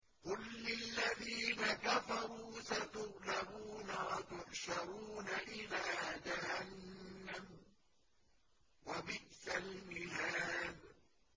قُل لِّلَّذِينَ كَفَرُوا سَتُغْلَبُونَ وَتُحْشَرُونَ إِلَىٰ جَهَنَّمَ ۚ وَبِئْسَ الْمِهَادُ